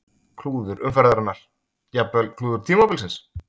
Klúður umferðarinnar: Jafnvel klúður tímabilsins?